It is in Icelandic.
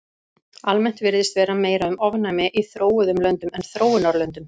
Almennt virðist vera meira um ofnæmi í þróuðum löndum en þróunarlöndum.